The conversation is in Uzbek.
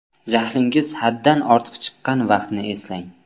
Jahlingiz haddan ortiq chiqqan vaqtni eslang.